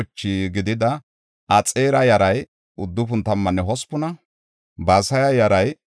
Qiriyat-Yi7aarima, Kafiranne Bi7eroota asay 743;